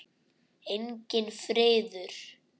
Enginn friður.